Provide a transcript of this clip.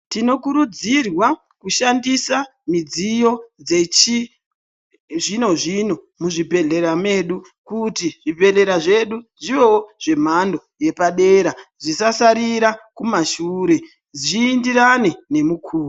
Tinokurudzirwa kushandisa midziyo dzechi zvino-zvino muzvibhedhlera medu kuti zvibhedhlera zvedu zviwewo zvemhando yepadera zvisasaririra kumashure, zviindirane nemukuwo.